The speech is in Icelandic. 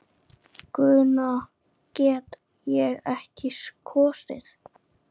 Guðna get ég ekki kosið.